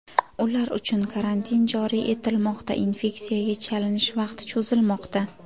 Ular uchun karantin joriy etilmoqda, infeksiyaga chalinish vaqti cho‘zilmoqda.